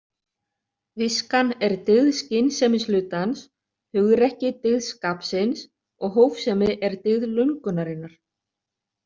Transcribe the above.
Viskan er dygð skynsemishlutans, hugrekki dygð skapsins og hófsemi er dygð löngunarinnar.